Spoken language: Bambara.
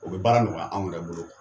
O bɛ baara nɔgɔya anw yɛrɛ bolo